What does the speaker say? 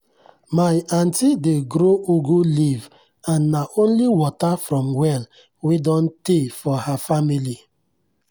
my aunti dey grow ugu leaf and nah only water from well wey don tey for her family.